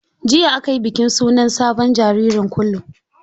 Jiya aka yi bikin sunan sabon jaririn kulu.